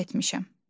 Səhv etmişəm.